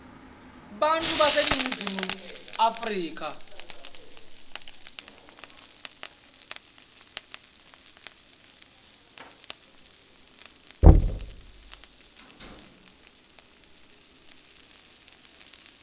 bantfu baseningizimu afrika